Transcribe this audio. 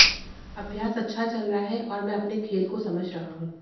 अभ्यास अच्छा चल रहा है और मैं अपने खेल को समझ रहा हूँ